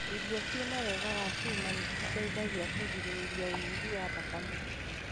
Irio ciina wega wa cuma nĩciteithagia kũgirĩrĩria ũnyihu wa thakame.